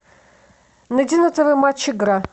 найди на тв матч игра